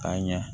Ka ɲa